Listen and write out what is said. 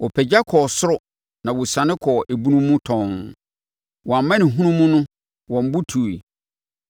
Wɔpagya kɔɔ sorosoro na wɔsiane kɔɔ ebunu mu tɔnn; wɔn amanehunu mu no wɔn bo tui.